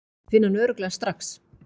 Ég finn hann örugglega strax.